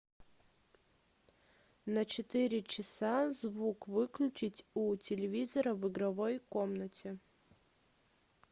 на четыре часа звук выключить у телевизора в игровой комнате